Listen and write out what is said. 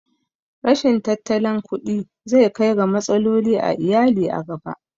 Rashin tattalin kuɗi zai kai ga matsaloli a iyali a gaba